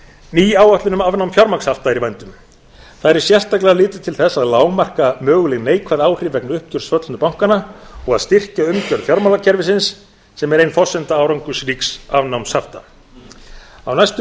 barnavara ný áætlun um afnám fjármagnshafta er í vændum þar er sérstaklega litið til þess að lágmarka möguleg neikvæð áhrif vegna uppgjörs föllnu bankanna og að styrkja umgjörð fjármálakerfisins sem er ein forsenda árangursríks afnáms hafta á næstu